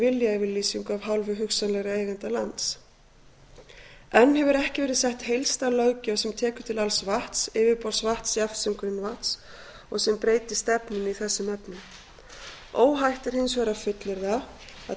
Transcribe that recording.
viljayfirlýsingu af hálfu hugsanlegra eigenda lands enn hefur ekki verið sett heildstæð löggjöf sem tekur til alls vatns yfirborðsvatns jafnt sem grunnvatns og sem breyti stefnunni í þessum efnum óhætt er hins vegar að fullyrða að